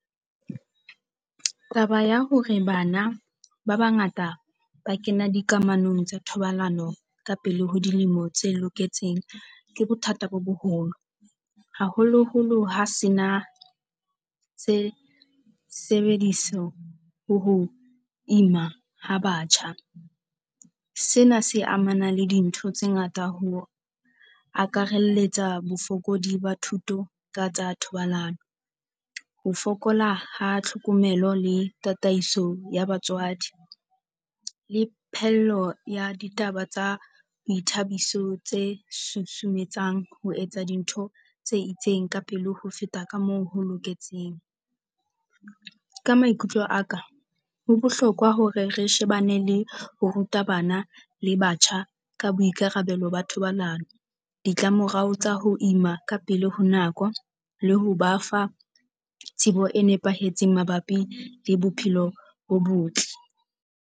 Taba ya hore bana ba bangata ba kena dikamanong tsa thobalano ka pele ho dilemo tse loketseng ke bothata bo boholo, haholoholo ha se na se sebediswa ho ima ha batjha. Sena se amanang le dintho tse ngata ho akaraletsa bofokodi ba thuto ka tsa thobalano. Ho fokola ha tlhokomelo le tataiso ya batswadi le phehello ya ditaba tsa boithabiso tse susumetsang ho etsa dintho tse itseng ka pele ho feta ka moo ho loketseng. Ka maikutlo a ka ho bohlokwa hore re shebane le ho ruta bana le batjha ka boikarabelo ba thobalano, ditlamorao tsa ho ema ka pele ho nako le ho ba fa tsebo e nepahetseng mabapi le bophelo bo botle.